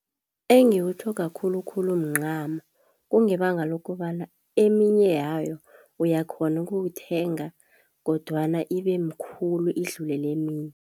Engikutlhoga khulukhulu mncamo kungebanga lokobana eminye yayo uyakhona ukuwuthenga kodwana ibe mkhulu idlule leminye.